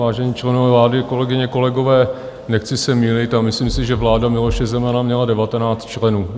Vážení členové vlády, kolegyně kolegové, nechci se mýlit, a myslím si, že vláda Miloše Zemana měla devatenáct členů.